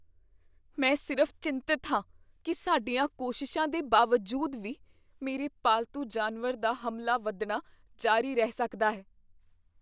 ਮੈਂ ਸਿਰਫ਼ ਚਿੰਤਤ ਹਾਂ ਕੀ ਸਾਡੀਆਂ ਕੋਸ਼ਿਸ਼ਾਂ ਦੇ ਬਾਵਜੂਦ ਵੀ, ਮੇਰੇ ਪਾਲਤੂ ਜਾਨਵਰ ਦਾ ਹਮਲਾ ਵਧਣਾ ਜਾਰੀ ਰਹਿ ਸਕਦਾ ਹੈ।